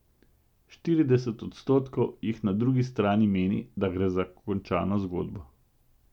Štirideset odstotkov jih na drugi strani meni, da gre za končano zgodbo.